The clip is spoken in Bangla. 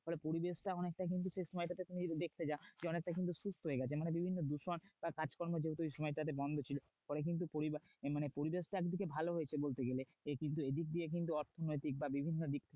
ফলে পরিবেশটা অনেকটা সেই সময়টাতে তুমি যদি দেখতে যাও অনেকটা কিন্তু সুস্থ হয়ে গেছে। মানে বিভিন্ন দূষণ বা কাজকর্ম যেহেতু ওই সময়টাতে বন্ধ ছিল ফলে কিন্তু মানে পরিবেশটা একদিকে ভালো হয়েছে বলতে গেলে। কিন্তু এদিক দিয়ে কিন্তু অর্থনৈতিক বা বিভিন্ন দিক